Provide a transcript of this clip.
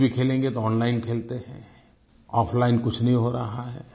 खेल भी खेलेंगे तो ओनलाइन खेलते है आफलाइन कुछ नहीं हो रहा है